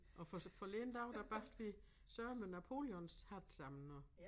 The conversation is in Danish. Og for forleden der var der bagte vi sørme napoleonshatte sammen også